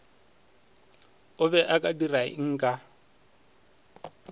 o be o ka dirangka